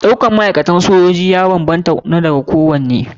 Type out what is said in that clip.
Ɗaukar ma'aikatan soji ya banbanta da na kowane aiki.